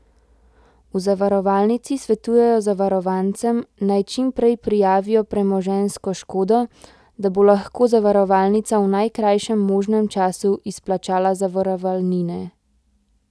V zavarovalnici svetujejo zavarovancem, naj čim prej prijavijo premoženjsko škodo, da bo lahko zavarovalnica v najkrajšem možnem času izplačala zavarovalnine.